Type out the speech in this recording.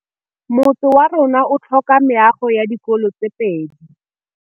Motse warona o tlhoka meago ya dikolô tse pedi.